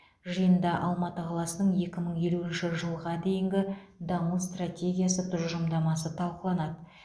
жиында алматы қаласының екі мың елуінші жылға дейінгі даму стратегиясы тұжырымдамасы талқыланады